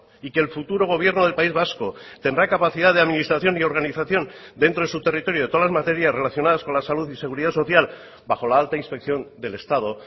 y que el futuro gobierno del país vasco tendrá capacidad de administración y organización dentro de su territorio de todas las materias relacionadas con la salud y seguridad social bajo la alta inspección del estado